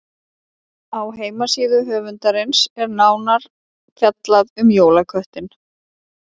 Á heimasíðu höfundarins er nánar fjallað um jólaköttinn.